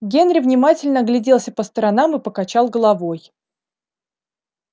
генри внимательно огляделся по сторонам и покачал головой